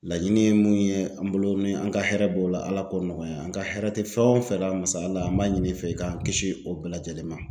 Laɲini ye mun ye an bolo ni an ka hɛrɛ b'o la Ala k'o nɔgɔya an ka hɛrɛ tɛ fɛn o fɛn la masa Ala an b'a ɲini i fɛ i k'an kisi o bɛɛ lajɛlen ma.